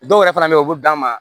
Dɔw yɛrɛ fana bɛ yen u bɛ d'an ma